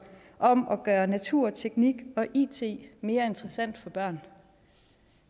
om at gøre natur teknik og it mere interessant for børn